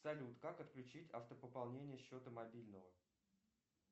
салют как отключить автопополнение счета мобильного